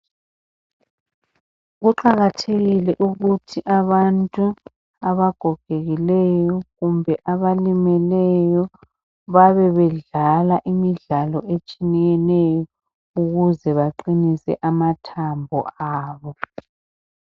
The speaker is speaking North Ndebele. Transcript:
Kuqakathekile ukuthi abantu abagogekileyo kumbe abalimeleyo babebedlala imidlalo etshiyeneyo ukuze baqinise amathambo abo .